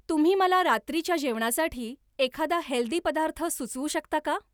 तुम्ही मला रात्रीच्या जेवणासाठी एखादा हेल्दी पदार्थ सुचवू शकता का?